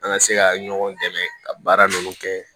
An ka se ka ɲɔgɔn dɛmɛ ka baara ninnu kɛ